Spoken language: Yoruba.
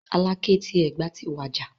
Aláké ti Ẹ̀gbá ti wàjà.